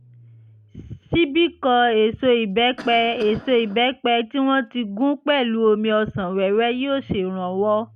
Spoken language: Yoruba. ṣíbí kan èso ìbẹ́pẹ èso ìbẹ́pẹ tí wọ́n ti gún pẹ̀lú omi ọsàn wẹ́wẹ́ yóò ṣèrànwọ́